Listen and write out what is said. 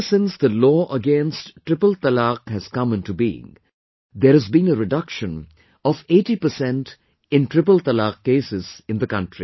Ever since the law against triple talaq has come into being, there has been a reduction of 80 percent in triple talaq cases in the country